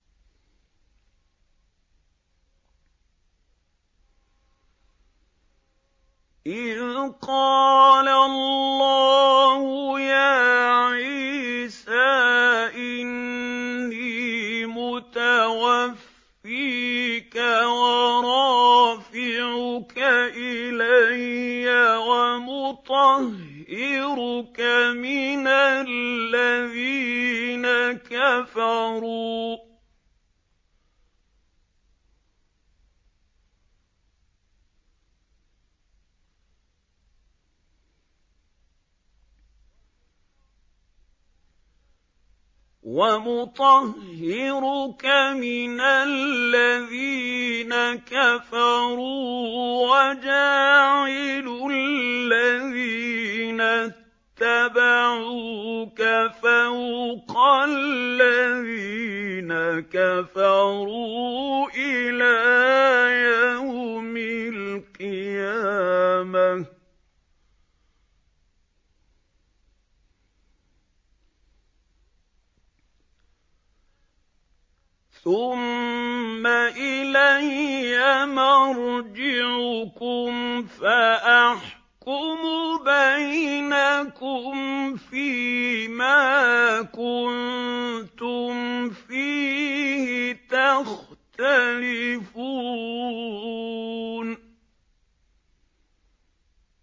إِذْ قَالَ اللَّهُ يَا عِيسَىٰ إِنِّي مُتَوَفِّيكَ وَرَافِعُكَ إِلَيَّ وَمُطَهِّرُكَ مِنَ الَّذِينَ كَفَرُوا وَجَاعِلُ الَّذِينَ اتَّبَعُوكَ فَوْقَ الَّذِينَ كَفَرُوا إِلَىٰ يَوْمِ الْقِيَامَةِ ۖ ثُمَّ إِلَيَّ مَرْجِعُكُمْ فَأَحْكُمُ بَيْنَكُمْ فِيمَا كُنتُمْ فِيهِ تَخْتَلِفُونَ